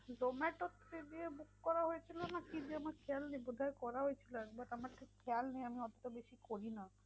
zomato র থেকে book করা হয়েছিল নাকি যে আমার খেয়াল নেই বোধহয় করা হয়েছিল একবার। আমার ঠিক খেয়াল নেই আমি observation করি না।